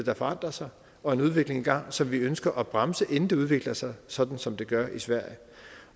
har forandret sig og en udvikling i gang som vi ønsker at bremse inden det udvikler sig sådan som det gør i sverige